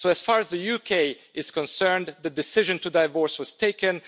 So, as far as the UK is concerned, the decision to divorce was taken.